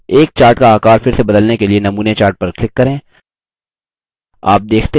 एक chart का आकार फिर से बदलने के लिए नमूने chart पर click करें